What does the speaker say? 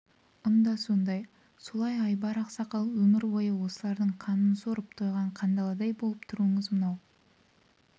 ұн да сондай солай айбар ақсақал өмір бойы осылардың қанын сорып тойған қандаладай болып тұруыңыз мынау